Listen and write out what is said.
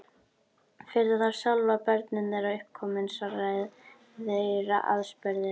Fyrir þá sjálfa, og börnin þeirra uppkomin, svara þeir aðspurðir.